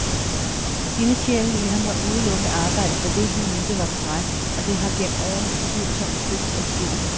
Ildsjælen i ham har udelukkende arbejdet for det, han mente var korrekt, og det har gennem årene utvivlsomt stødt adskillige.